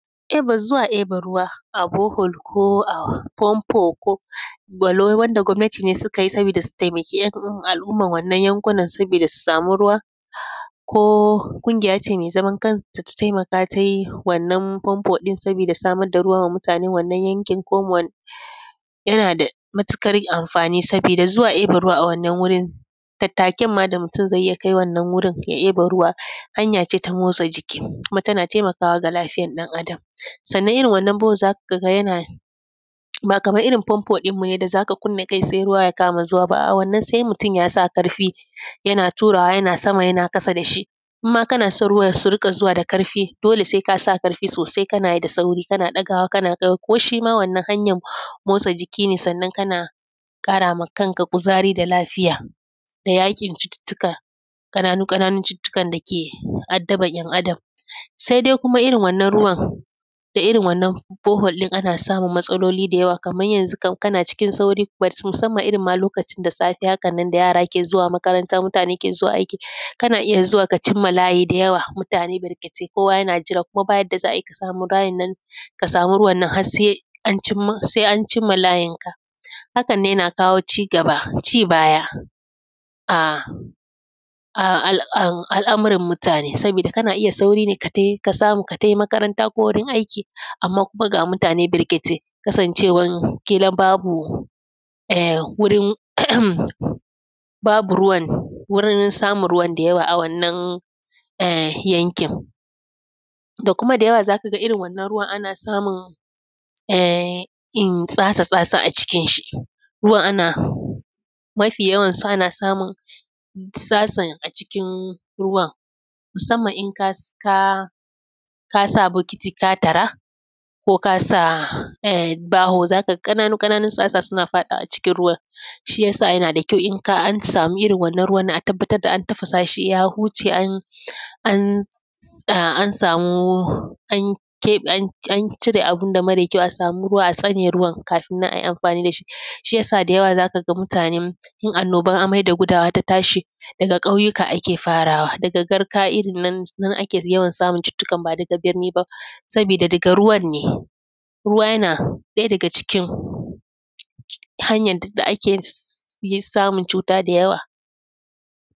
Eba, zuwa eba ruwa, a bohol ko a fanfo k; walau wanda gwamnati ne sika yi sabida da si temaki ‘yan al’umman wannan yankunan sabida su sami ruwa. Ko kungiya ce me zaman kanta ta temaka tai wannan fanfo ɗin sabida samar da ruwa wa mutanen wannan yankin ko mo wan. Yana da mutikar amfani, sabida zuwa eba ruwa a wannan wurin, tattaken ma da mutun zai yi ya kai wannan wurin ya eba ruwa, hanya ce ta motsa jiki kuma tana temakawa ga lafiyan ɗan Adam. Sanna, irin waɗannan bohol, za ka ga yana; ba kaman irin fanfon ɗinmu ne da za ka kunna kai-tsaye ruwa ya kama zuwa ba, a’a, wanna se mutun ya sa karfi, yana turawa yana sama yana kasa da shi. Im ma kana son ruwan su rika zuwa da karfi, dole se ka sa karfi sosai kana yi da sauri, kana ɗagawa kana kai; ko shi ma wannan hanyan motsa jiki ne, sannan kana kara ma kanka kuzari da lafiya da yaƙi da cututtuka, ƙananu-ƙananun cututtukan da ke addaban ‘yan Adam. Sede kuma irin wannan ruwan, da irin wannan bohol ɗin, ana samun matsaloli da yawa. Kaman yanzu kan kana cikin sauri, ‘but’ musamman irin ma lokacin da safe haka nan da yara ke zuwa makaranta, mutane ke zuwa aiki, kana iya zuwa ka cim ma layi da yawa, mutane barkatai kowa yana jira. Kuma, ba yadda za ai ka sami bayan nan, ka sami ruwan nan has se an cim ma, se an cim ma layinka. Hakan nan, yana kawo cigaba, cibaya a; a; al; an; al’amuran mutane, sabida kana iya sauri ne ka tai, ka samu ka tai makaranta ko wurin aiki, amma kuma ga mutane barkatai, kasancewan kilan babu em; wurin, - babu ruwan, wurin samun ruwan da yawa a wannan, eh yankin. Da kuma da yawa, za ka ga irin wannan ruwan ana samun em, in, tsara sa su a cikinshi. Ruwan ana, mafi yawansu ana samun; sa sun a cikin ruwan, sannan in kas; ka sa bokiti ka tara, ko ka sa em baho, za ka ga ƙananu-ƙananun tsatsa suna faɗawa cikin ruwan. Shi ya sa yana da kyau in ka; an samu irin wannan ruwan, a tabbatad da an tafasa shi ya huce an; an; a; an samu, an keƃe, an; an cire abun da mare kyau, a samu ruwa a tsane ruwan kafin nan ai amfani da shi. Shi ya sa, da yawa za ka ga mutanen, in annoban amai da gudawa ta tashi, daga ƙauyika ake farawa, daga garka irin nan, nan ake samun cututtukan ba daga birni ba, sabida daga ruwan ne. Ruwa, yana ɗaya daga cikin hanyan tad da ake yin ss; yi samun cuta da yawa.